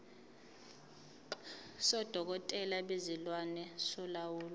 sodokotela bezilwane solawulo